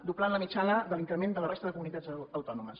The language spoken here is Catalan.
doblant la mitjana de l’increment de la resta de comunitats autònomes